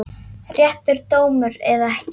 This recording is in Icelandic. Réttur dómur eða ekki?